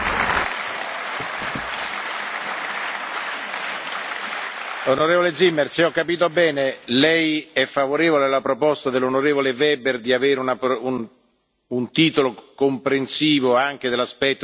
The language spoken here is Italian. Onorevole Zimmer, se ho capito bene, Lei è favorevole alla proposta dell'onorevole Weber di avere un titolo comprensivo anche dell'aspetto dei diritti, quindi possiamo votare la richiesta dell'onorevole Weber?